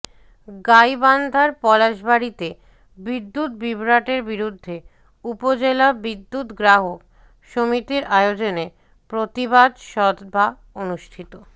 গাইবান্ধার পলাশবাড়ীতে বিদ্যুত বিভ্রাটের বিরুদ্ধে উপজেলা বিদ্যুৎ গ্রাহক সমিতির আয়োজনে প্রতিবাদ সভা অনুষ্ঠিত